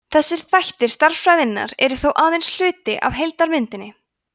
þessir þættir stærðfræðinnar eru þó aðeins hluti af heildarmyndinni